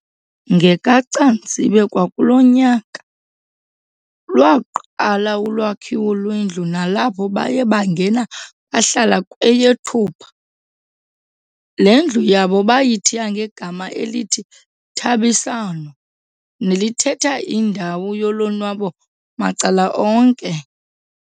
NgekaCanzibe kwakulo nyaka, lwaqala ulwakhiwo lwendlu nalapho baye bangena bahlala kweyeThupha. Le ndlu yabo bayithiya ngegama elithi "Thabisano" nelithetha indawo yolonwabo macala onke.